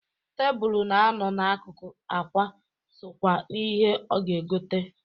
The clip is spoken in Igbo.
Tebulu na-anọ na-akụkụ akwa sokwa n'ihe ọ ga-egota.